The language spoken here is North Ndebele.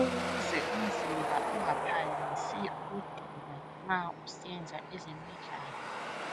Ukuze umzimba ungaphangisi ukudinwa nxa usenza ezemidlalo